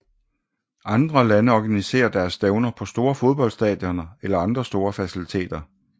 Andre lande organiserer deres stævner på store fodboldstadioner eller andre store faciliteter